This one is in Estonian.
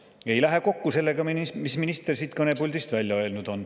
See ei lähe kokku sellega, mis minister siit kõnepuldist välja on öelnud.